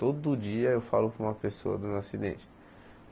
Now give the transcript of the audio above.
Todo dia eu falo para uma pessoa do meu acidente.